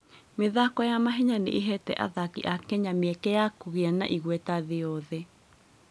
Mĩthako ya mahenya nĩ ĩheete athaki a Kenya mĩeke ya kũgĩa na igweta thĩ yothe.